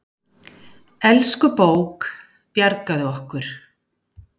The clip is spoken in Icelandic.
Elsku bók, bjargaðu okkur.